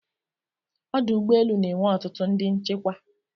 Ọdụ ụgbọelu na enwe ọtụtụ ndị nchekwa